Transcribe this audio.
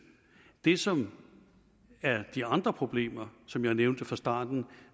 det som er de andre problemer som jeg nævnte fra starten